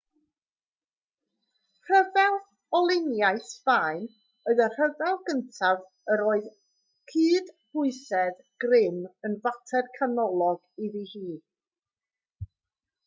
rhyfel olyniaeth sbaen oedd y rhyfel gyntaf yr oedd cydbwysedd grym yn fater canolog iddi hi